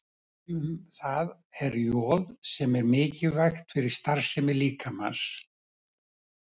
Dæmi um það er joð sem er mikilvægt fyrir starfsemi líkamans.